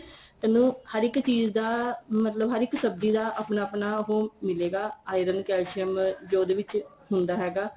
ਇੰਨੁ ਹਰ ਇੱਕ ਚੀਜ ਦਾ ਮਤਲਬ ਹਰ ਇੱਕ ਸਬਜੀ ਦਾ ਆਪਣਾ ਆਪਣਾ ਉਹ ਮਿਲੇਗਾ iron calcium ਜੋ ਉਹਦੇ ਵਿੱਚ ਹੁੰਦਾ ਹੈਗਾ